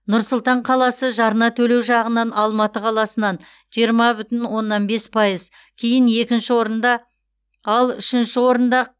нұр сұлтан қаласы жарна төлеу жағынан алматы қаласынан жиырма бүтін оннан бес пайыз кейін екінші орында ал үшінші орында